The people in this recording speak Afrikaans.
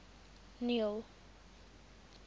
neil